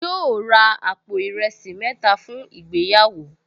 Yóò ra àpò ìrẹsì mẹ́ta fún ìgbéyàwó